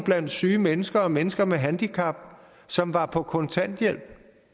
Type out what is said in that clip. blandt syge mennesker og mennesker med handicap som var på kontanthjælp